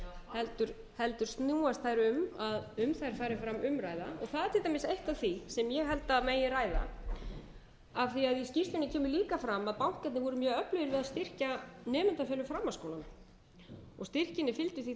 heldur snúast þær um að um þær fari fram umræða og það er til dæmis eitt af því sem ég held að megi ræða af því að í skýrslunni kemur líka fram að bankarnir voru mjög öflugir við að styrkja nemendur fyrir framhaldsskólana styrkjunum fylgdi því þá